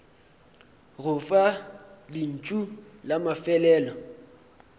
go fa lentšu la mafelelo